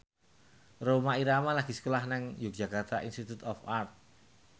Rhoma Irama lagi sekolah nang Yogyakarta Institute of Art